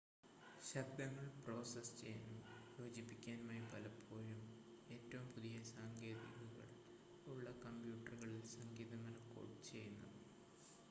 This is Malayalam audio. ശബ്ദങ്ങൾ പ്രോസസ്സ് ചെയ്യാനും യോജിപ്പിക്കാനുമായി പലപ്പോഴും ഏറ്റവും പുതിയ സാങ്കേതികതകൾ ഉള്ള കമ്പ്യൂട്ടറുകളിൽ സംഗീതം റെക്കോഡ് ചെയ്യുന്നു